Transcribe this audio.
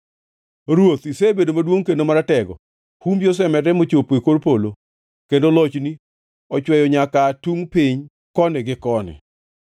Ruoth isebedo maduongʼ kendo maratego; humbi osemedore mochopo e kor polo, kendo lochni ochweyo nyaka aa tungʼ piny koni gi koni.